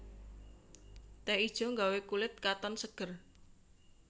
Teh ijo gawé kulit katon seger